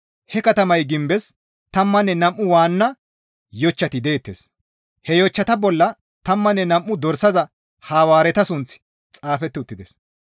He katamay gimbes tammanne nam7u waanna yochchati deettes; he yochchata bolla tammanne nam7u Dorsaza Hawaareta sunththi xaafeti uttides.